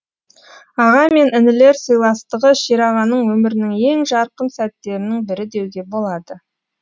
аға мен інілер сыйластығы шерағаның өмірінің ең жарқын сәттерінің бірі деуге болады